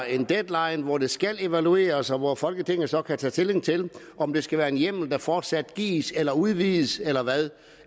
en deadline hvor det skal evalueres og hvor folketinget så kan tage stilling til om det skal være en hjemmel der fortsat gives eller udvides eller hvad